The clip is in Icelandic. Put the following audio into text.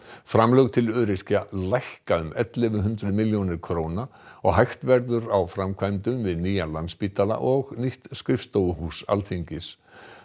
framlög til öryrkja lækka um ellefu hundruð milljónir króna og hægt verður á framkvæmdum við nýjan Landspítala og nýtt skrifstofuhús Alþingis